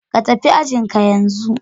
Ka tafi ajin ka yanzu